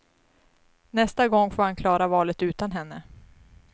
Nästa gång får han klara valet utan henne.